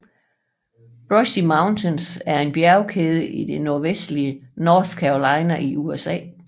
Brushy Mountains er en bjergkæde i det nordvestlige North Carolina i USA